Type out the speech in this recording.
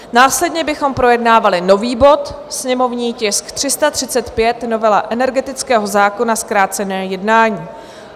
Následně bychom projednávali nový bod, sněmovní tisk 335, novela energetického zákona, zkrácené jednání.